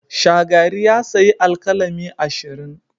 Shagari ya sayi alkalami ashirin.